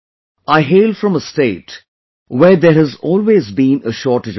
I hail from a state where there has always been a shortage of water